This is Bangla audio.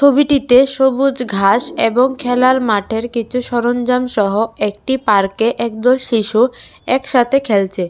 ছবিটিতে সবুজ ঘাস এবং খেলার মাঠের কিছু সরঞ্জামসহ একটি পার্কে একদল শিশু একসাথে খেলছে।